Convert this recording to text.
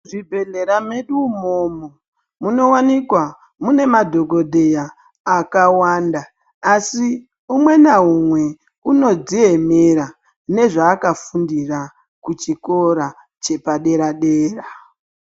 Muzvibhedhlera medu umomo munowanikwa mune madhogodheya akawanda, asi umwe naumwe unodziemera nezvaakafundira kuchikora chepadera-dera.